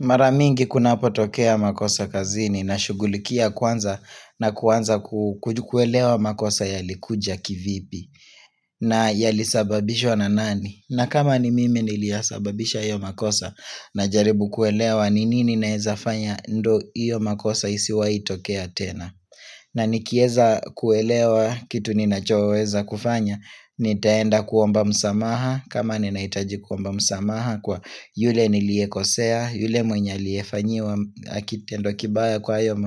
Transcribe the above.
Mara mingi kunapo tokea makosa kazini na shughulikia kwanza na kuanza ku kuelewa makosa yalikuja kivipi na yalisababishwa na nani. Na kama ni mimi niliyasababisha hiyo makosa najaribu kuelewa ni nini naweza fanya ndio hiyo makosa isiwai tokea tena. Na nikieza kuelewa kitu nina choweza kufanya, nitaenda kuomba msamaha, kama ninahitaji kuomba msamaha kwa yule niliyekosea, yule mwenye aliyefanyiwa, kitendo kibaya kwa